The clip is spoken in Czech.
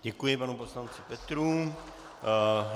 Děkuji panu poslanci Petrů.